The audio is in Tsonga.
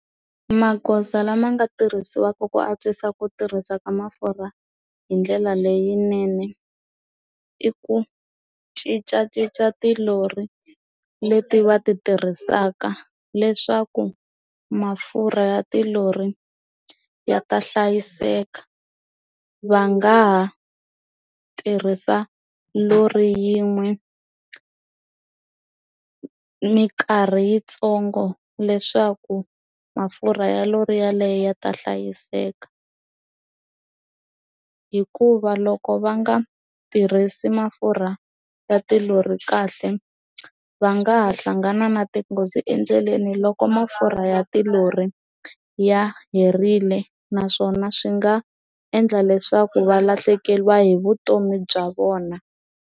Magoza lama nga tirhisiwaka ku antswisa ku tirhisa ka mafurha hi ndlela leyinene i ku cincacinca ti lori leti va ti tirhisaka leswaku mafurha ya tilori ya ta hlayiseka va nga ha tirhisa lori yin'we mikarhi yitsongo leswaku mafurha ti ya lori yaleyo yi ta hlayiseka hikuva loko va nga tirhisi mafurha ya tilori kahle va nga hlangana na tinghozi endleleni loko mafurha ya tilori ya herile naswona swi nga endla leswaku va lahlekeriwa hi vutomi bya vona.